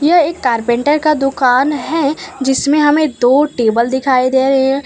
यह एक कारपेंटर का दुकान है जिसमें हमें दो टेबल दिखाई दे रहे हैं।